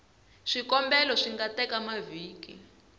swikombelo swi nga teka mavhiki